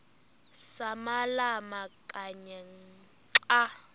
samalama kanye xa